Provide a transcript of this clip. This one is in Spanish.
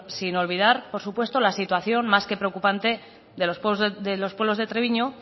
sin olvidar por supuesto la situación más que preocupante de los pueblos de treviño